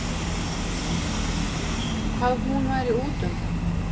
Hvað hún væri útundan.